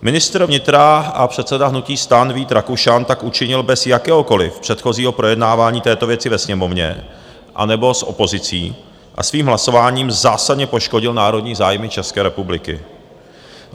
Ministr vnitra a předseda hnutí STAN Vít Rakušan tak učinil bez jakéhokoliv předchozího projednávání této věci ve Sněmovně anebo s opozicí a svým hlasováním zásadně poškodil národní zájmy České republiky.